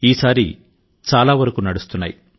ఈసారి చాలా వరకు నడుస్తున్నాయి